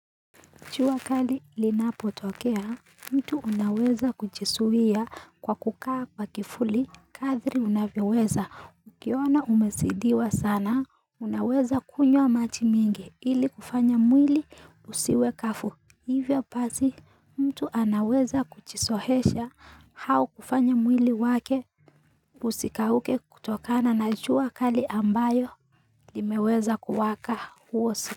Jua kali linapotokea, mtu unaweza kuchisuwia kwa kukaa kwa kifuli, kathri unavyeweza, ukiona umesidiwa sana, unaweza kunywa maji mingi ili kufanya mwili usiwe kafu, hivyo pasi mtu anaweza kuchisohesha hau kufanya mwili wake usikauke kutokana na jua kali ambayo limeweza kuwaka huosi.